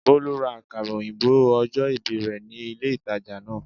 Bólú ra àkàrà òyìnbó ojó ìbì rè ní ilé ìtajà náà